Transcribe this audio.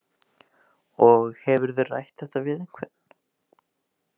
Og hefurðu rætt þetta við einhvern?